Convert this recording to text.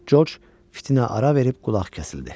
Coç fitinə ara verib qulaq kəsildi.